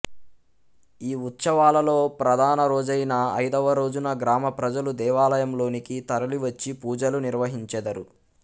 ఈ ఉత్సవాలలో ప్రధానరోజైన ఐదవరోజున గ్రామప్రజలు దేవాలయంలోనికి తరలివచ్చి పూజలు నిర్వహించెదరు